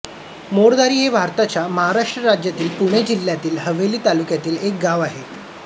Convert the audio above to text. मोरधारी हे भारताच्या महाराष्ट्र राज्यातील पुणे जिल्ह्यातील हवेली तालुक्यातील एक गाव आहे